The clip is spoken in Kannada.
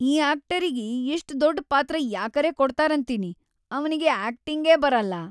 ಈ ಆಕ್ಟರಿಗಿ ಇಷ್ಟ್‌ ದೊಡ್ಡ್‌ ಪಾತ್ರ ಯಾಕರೇ ಕೊಡ್ತಾರಂತೀನಿ. ಅವನಿಗಿ ಆಕ್ಟಿಂಗೇ ಬರಲ್ಲಾ.